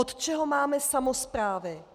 Od čeho máme samosprávy?